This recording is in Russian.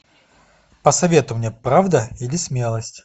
посоветуй мне правда или смелость